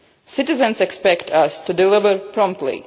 goal. Citizens expect us to deliver